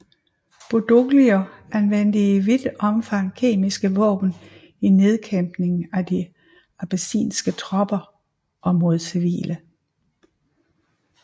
Badoglio anvendte i vidt omfang kemiske våben i nedkæmpningen af de abessinske tropper og mod civile